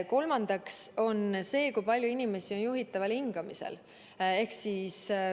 Kolmas näitaja on see, kui palju inimesi on juhitaval hingamisel.